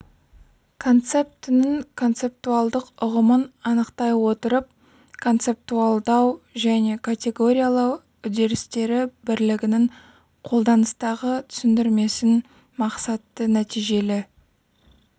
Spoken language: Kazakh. концептінің концептуалдық ұғымын анықтай отырып концептуалдау және категориялау үдерістері бірлігінің қолданыстағы түсіндірмесін мақсатты-нәтижелі